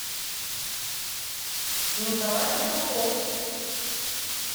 николай петухов